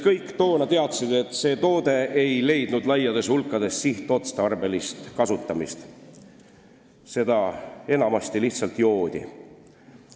Kõik toona teadsid, et see toode ei leidnud laiades hulkades sihtotstarbelist kasutamist, seda enamasti lihtsalt joodi.